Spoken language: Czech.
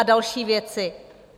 A další věci.